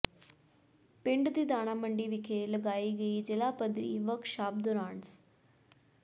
ਪਿੰਡ ਦੀ ਦਾਣਾ ਮੰਡੀ ਵਿਖੇ ਲਗਾਈ ਗਈ ਜ਼ਿਲ੍ਹਾ ਪੱਧਰੀ ਵਰਕਸ਼ਾਪ ਦੌਰਾਨ ਸ